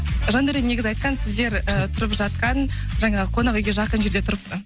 жандаурен негізі айтқан сіздер ыыы тұрып жатқан жаңағы қонақ үйге жақын жерде тұрыпты